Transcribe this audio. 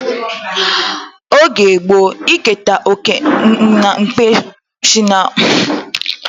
Oge gboo, iketa oké n'ekpe bụ kpọmkwem maka osinanna